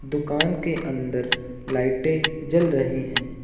दुकान के अंदर लाइटे जल रही हैं।